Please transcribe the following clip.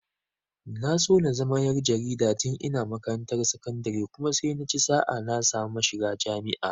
Na so na zama ƴar jarida tun ina makarantar sakandire kuma sai naci sa'a na samu shiga jami'a.